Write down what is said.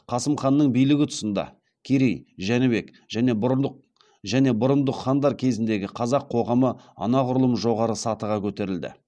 қасым ханның билігі тұсында керей жәнібек және бұрындық хандар кезіндегі қазақ қоғамы анағұрлым жоғары сатыға көтерілді